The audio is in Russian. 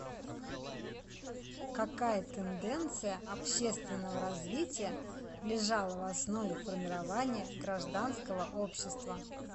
какая тенденция общественного развития лежала в основе формирования гражданского общества